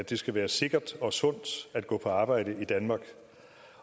det skal være sikkert og sundt at gå på arbejde i danmark